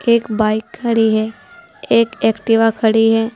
एक बाइक खड़ी है एक एक्टिवा खड़ी है।